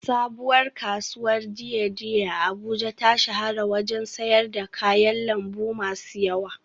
Sabuwar kasuwar dei dei a Abuja ta shahara wajen sayar da kayan lambu masu yawa